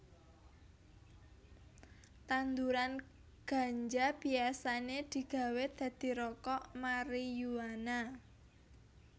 Tanduran ganja biasané digawé dadi rokok mariyuana